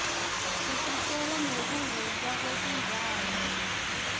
isitjen nqeku huka kwetindzawo